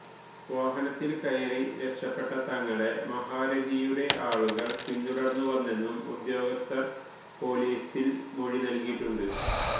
വാഹനത്തില് കയറി രക്ഷപ്പെട്ട തങ്ങളെ മഹാരഥിയുടെ ആളുകള് പിന്തുടര്ന്നു വന്നെന്നും ഉദ്യോഗസ്ഥര് പോലീസില് മൊഴി നല്കിയിട്ടുണ്ട്